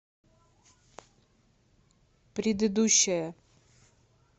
предыдущая